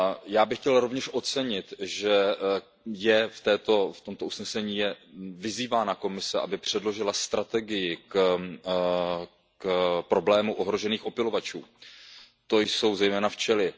Já bych chtěl rovněž ocenit, že je v tomto usnesení vyzývána Komise, aby předložila strategii k problému ohrožených opylovačů, to jsou zejména včely.